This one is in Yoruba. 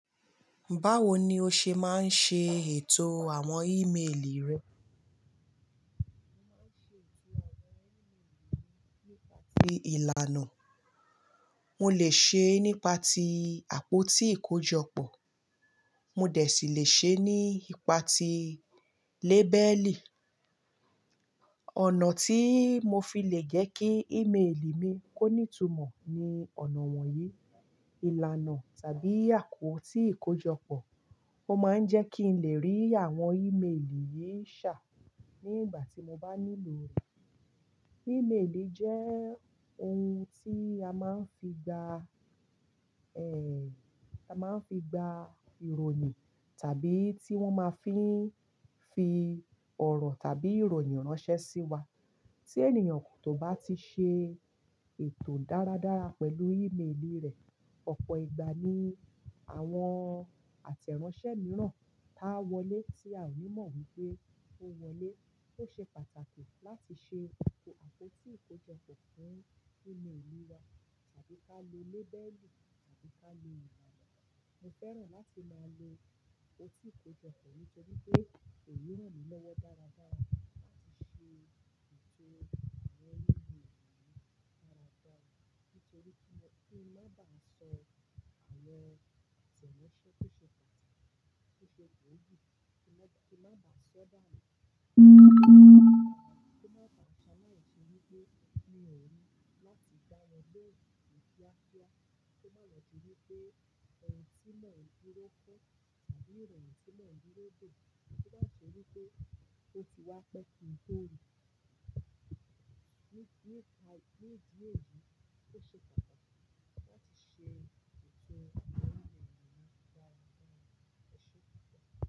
Báwo ni o ṣe máa ń ṣe ètò àwọn email rẹ? Mo máa ń ṣe ètò àwọn email mi nípa ti ìlànà. Mo lè ṣe é nípa ti àpótí ìkojọpọ̀, mo dẹ̀ sì lè ṣe é nípa ti label. Ọ̀nà tí mo fi lè jẹ́ kí email mi kó ní tumọ̀ ni ọ̀nà wọ̀nyí. Ìlànà tàbí àpótí ìkojọpọ̀, mo máa ń jẹ́ kí n lè rí àwọn email yìí ṣà ní ìgbà tí mo bá nílò rẹ̀. Email jẹ́ ohun tí a máa ń fi gba, ẹ, a máa ń fi gba ìròyìn tàbí tí wọ́n ma fín fi ọ̀rọ̀ tàbí ìròyìn ránṣẹ́ sí wa. Tí ènìyàn kò tó bá ti ṣe ètò dáradára pẹ̀lú email rẹ̀, ọ̀pọ̀ ìgbà ni àwọn àtẹ̀ránṣẹ́ mìíràn tá wọlé tí a ò ní mọ̀ wípé ó wọlé. Ó ṣe pàtàkì láti ṣe àpótí ìkojọpọ̀ fún email wa tàbí ká lo label tàbí ká lo ìlànà. Mo fẹ́ràn láti máa lo àpótí ìkojọpọ̀ nítorí pé kò ní rán lowo dáradára láti ṣe ètò àwọn email mi dáradára nítorí kí n máa ba sọ àwọn àtẹ̀ránṣẹ́ tó ṣe pàtàkì, tó ṣe gbóògì, kí n máa ba sọ báyìí, kí n máa ba ṣàlàyé ṣebí pé èyí ò ní láti dá wọn lohun kiakia. Kí ó má lọ ṣebí pé ẹ̀ni tí mọ̀ duro fun tàbí ìròyìn tí mọ̀ durúo de, kí ó má ṣẹ́ wípé ó ti wá pẹ́ kintó rí. Ní ìdí èyí tó ṣe pàtàkì láti ṣe ètò àwọn email mi dáradára, ó ṣe pàtàkì.